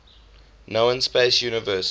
known space universe